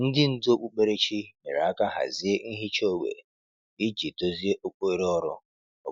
Ndị ndú okpukperechi nyere aka hazie nhicha ógbè iji dozie oghere ọrụ obodo.